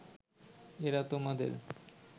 এঁরা তোমাদের